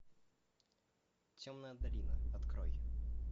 темная долина открой